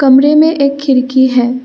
कमरे में एक खिड़की है।